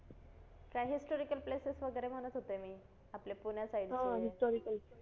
काय historical places वगैरे म्हणत होते मी आपल्या पुण्या side चे